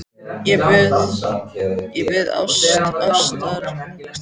Ég bið um ást, ást ungrar stúlku.